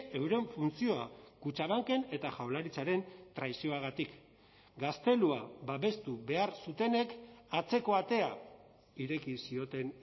euren funtzioa kutxabanken eta jaurlaritzaren traizioagatik gaztelua babestu behar zutenek atzeko atea ireki zioten